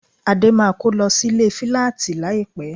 Adé máa kó lọ sílé fíláàtì láìpẹ́